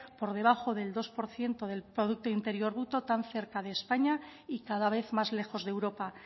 por debajo del dos por ciento del producto interior bruto tan cerca de españa y cada vez más lejos de europa